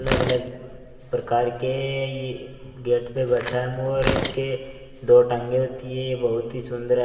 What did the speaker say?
अलग-अलग प्रकार के यह गेट पर बैठा है मोर इसके दो टांगें होती है ये बहुत ही सुंदर--